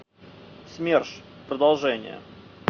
смерш продолжение